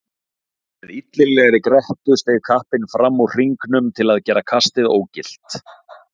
Með illilegri grettu steig kappinn fram úr hringnum til að gera kastið ógilt.